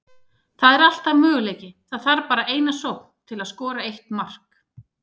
Það er alltaf möguleiki, það þarf bara eina sókn til að skora eitt mark.